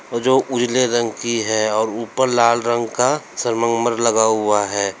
वो जो उजले रंग की है और ऊपर लाल रंग का सरमन्गमर लगा हुआ है।